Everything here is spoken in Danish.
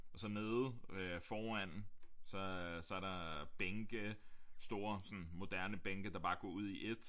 Og så nede foran så øh så er der bænke store sådan moderne bænke der bare går ud i ét